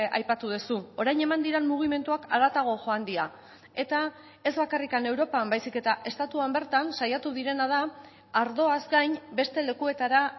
aipatu duzu orain eman diren mugimenduak haratago joan dira eta ez bakarrik europan baizik eta estatuan bertan saiatu direna da ardoaz gain beste lekuetara